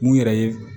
Mun yɛrɛ ye